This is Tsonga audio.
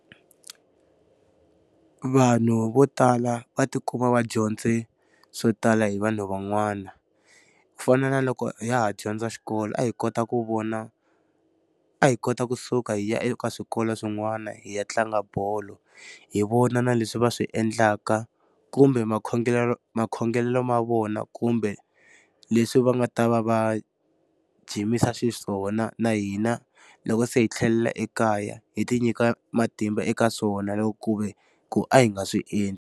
Vanhu vo tala va ti kuma va dyondze swo tala hi vanhu van'wana. Ku fana na loko ha ha dyondza xikolo a hi kota ku vona, a hi kota kusuka hi ya eka swikolo swin'wana hi ya tlanga bolo. Hi vona na leswi va swi endlaka kumbe makhongelelo ma vona kumbe, leswi va nga ta va va jimisa xiswona. Na hina loko se hi tlhelela ekaya, hi ti nyika matimba eka swona loko ku ve ku a hi nga swi endli.